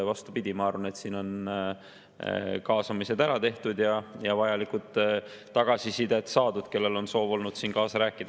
Vastupidi, ma arvan, et siin on kaasamised ära tehtud ja vajalik tagasiside saadud neilt, kellel on olnud soov kaasa rääkida.